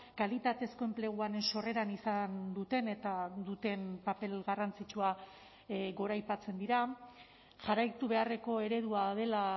kalitatezko enpleguaren sorreran izan duten eta duten paper garrantzitsua goraipatzen dira jarraitu beharreko eredua dela